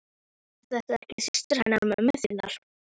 Er þetta ekki systir hennar mömmu þinnar?